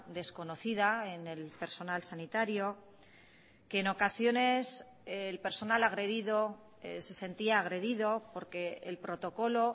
desconocida en el personal sanitario que en ocasiones el personal agredido se sentía agredido porque el protocolo